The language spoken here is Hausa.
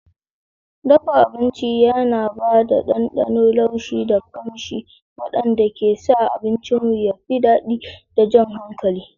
Dafa abinci yana ba da ɗanɗano, laushi, da ƙamshi waɗanda ke sa abincinmu ya fi daɗi da jan hankali.